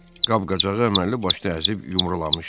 Qab-qacağı əməlli başlı əzib yumrulamışdı.